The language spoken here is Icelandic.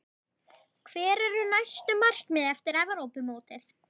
Hver eru næstu markmið eftir Evrópumótið?